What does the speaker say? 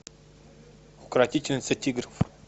укротительница тигров